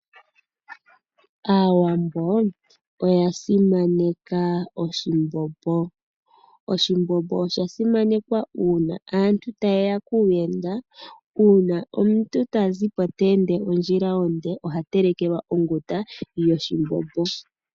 Aawambo oya simaneka oshimbombo, uuna aantu ta yeya kuuyenda. Uuna omuntu ta zipo tayi ondjila onde, oha telekelwa onguta yoshimbombo.